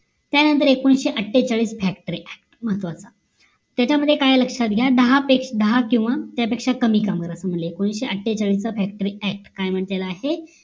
त्यानंतर एकोणाविषे अट्ठेचाळीस factory ACT महत्वाचं त्याच्यामध्ये काय आहे लक्ष्यात घ्या दहा किंवा त्या पेक्ष्या कमी कामगार असं म्हंटल आहे एकोणाविषे अट्ठेचाळीसचा factory act काय म्हंटल आहे